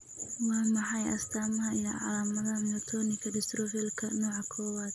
Waa maxay astamaha iyo calaamadaha Myotonika dystrophlka nooca kowaad?